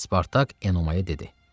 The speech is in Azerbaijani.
Spartak Enomaya dedi: